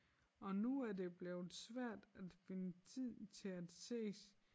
Og nu er det blevet svært at finde tid til at ses